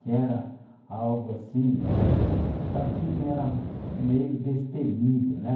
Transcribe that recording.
que era algo assim, para quem era meio destemido, né?